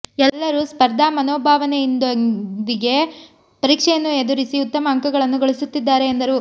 ಎಲ್ಲರೂ ಸ್ಪರ್ಧಾ ಮನೋಭಾವನೆಯೊಂದಿಗೆ ಪರೀಕ್ಷೆಯನ್ನು ಎದುರಿಸಿ ಉತ್ತಮ ಅಂಕಗಳನ್ನು ಗಳಿಸುತ್ತಿದ್ದಾರೆ ಎಂದರು